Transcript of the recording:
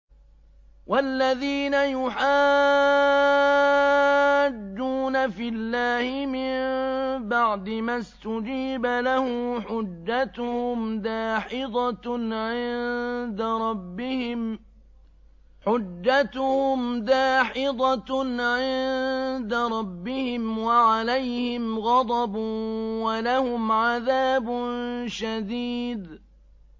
وَالَّذِينَ يُحَاجُّونَ فِي اللَّهِ مِن بَعْدِ مَا اسْتُجِيبَ لَهُ حُجَّتُهُمْ دَاحِضَةٌ عِندَ رَبِّهِمْ وَعَلَيْهِمْ غَضَبٌ وَلَهُمْ عَذَابٌ شَدِيدٌ